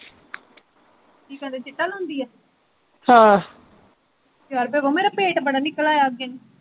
ਕੀ ਕਹਿੰਦੇ ਚਿੱਟਾ ਲਾਉਂਦੀ ਆ ਹਮ ਯਾਰ ਬਬੋ ਮੇਰਾ ਪੇਟ ਬੜਾ ਨਿਕਲ ਆਇਆ ਅੱਗੇ